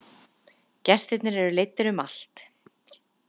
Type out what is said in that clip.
Gestirnir eru leiddir um allt.